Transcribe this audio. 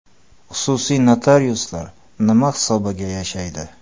Xususiy notariuslar nima hisobiga yashaydi?